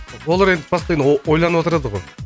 олар енді постоянно ойланып отырады ғой